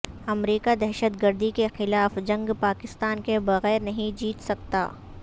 امریکہ دہشت گردی کے خلاف جنگ پاکستان کے بغیر نہیں جیت سکتا